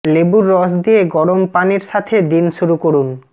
লেবুর রস দিয়ে গরম পানির সাথে দিন শুরু করুন